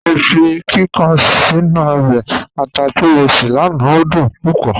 Mọ fi kíkàn sínu ọbẹ̀ àtà tí mọ ṣé lánà, o dún púpọ̀.